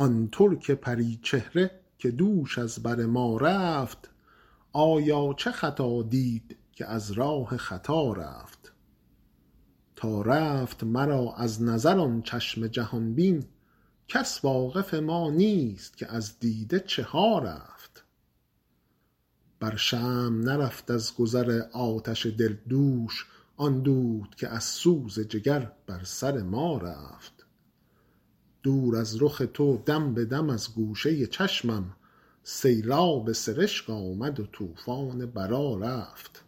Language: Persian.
آن ترک پری چهره که دوش از بر ما رفت آیا چه خطا دید که از راه خطا رفت تا رفت مرا از نظر آن چشم جهان بین کس واقف ما نیست که از دیده چه ها رفت بر شمع نرفت از گذر آتش دل دوش آن دود که از سوز جگر بر سر ما رفت دور از رخ تو دم به دم از گوشه چشمم سیلاب سرشک آمد و طوفان بلا رفت